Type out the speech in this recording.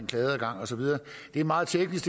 klageadgang og så videre det er meget teknisk